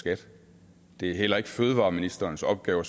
skat det er heller ikke fødevareministerens opgave at